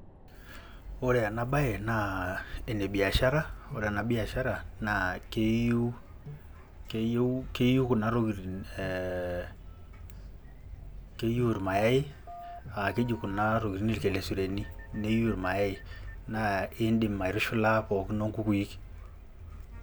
Ore ena baye naa ene biashara ore ena biashara naa keyiu keyiu keyiu kuna tokitin ee keyiu irmayai aa keji kuna tokitin irkelesuleni niyiu irmayai naa iindim aitushula pookin oo nkukui.